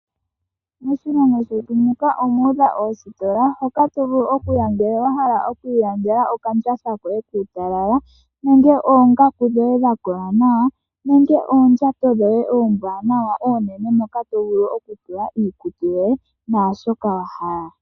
Moshilongo shetu muka omu udha oositola hoka tovulu oku ilandela okandjatha koye kuutalala nenge oongaku dhoye dha kola nawa nenge oondjato dhoye oombwanawa oonene moka tovulu oku tula iikutu yoye naashoka wahala.